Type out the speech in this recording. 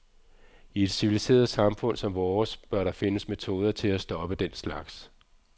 I et civiliseret samfund som vores bør der findes metoder til at stoppe den slags.